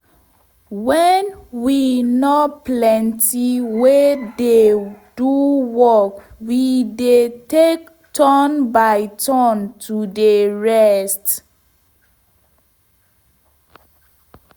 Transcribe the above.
wen we nor plenty wey dey do work we dey take turn by turn to dey rest